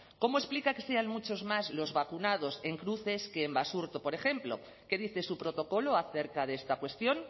cómo explica que sean muchos más los vacunados en cruces que en basurto por ejemplo qué dice su protocolo acerca de esta cuestión